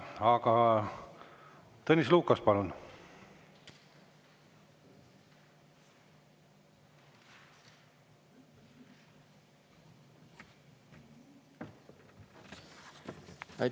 Aga Tõnis Lukas, palun!